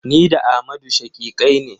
Ni da Amadu shaƙiƙai ne.